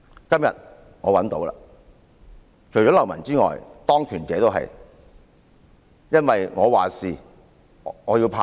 今天我找到了，除了流氓外，當權者也如是，因為"我話事，我要怕誰？